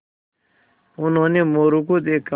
उन्होंने मोरू को देखा